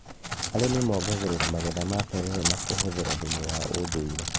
Arĩmi mongagĩrĩra magetha ma terere na kũhũthĩra thumu wa ũndũire